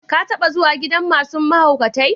Ka taba zuwa gidan masun mahaukatai?